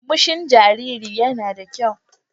Murmushin jaririn yana da kyau.